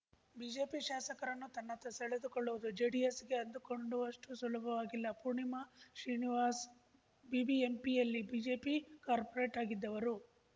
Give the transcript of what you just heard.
BJP ಶಾಸಕರನ್ನು ತನ್ನತ್ತ ಸೆಳೆದುಕೊಳ್ಳುವುದು ಜೆಡಿಎಸ್‌ ಗೆ ಅಂದುಕೊಂಡಷ್ಟುಸುಲಭವಾಗಿಲ್ಲ ಪೂರ್ಣಿಮಾ ಶ್ರೀನಿವಾಸ್‌ ಬಿಬಿಎಂಪಿಯಲ್ಲಿ ಬಿಜೆಪಿ ಕಾರ್ಪೋರೇಟ್‌ ಆಗಿದ್ದವರು